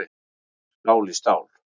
Stál í stál